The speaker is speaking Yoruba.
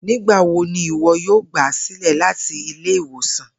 Nigbawo ni iwọ yoo gba silẹ lati ile-iwosan?